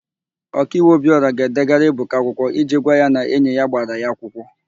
Okaiwu Obịọra ga-edegara Ebuka akwụkwọ iji gwa ya na enyi ya gbara ya akwụkwọ.